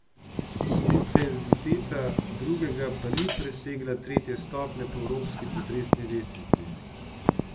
Intenziteta drugega pa ni presegla tretje stopnje po evropski potresni lestvici.